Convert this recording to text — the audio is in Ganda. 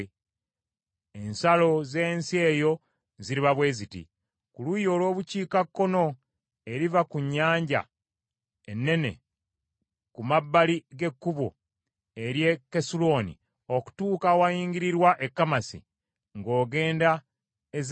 “Ensalo z’ensi eyo ziriba bwe ziti: “Ku luuyi olw’Obukiikakkono, eriva ku Nnyanja Ennene ku mabbali g’ekkubo ery’e Kesulooni okutuuka awayingirirwa e Kamasi, ng’ogenda e Zedadi,